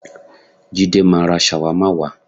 Jídé máa ra ṣàwámà wá.